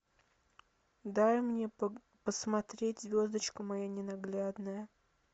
дай мне посмотреть звездочка моя ненаглядная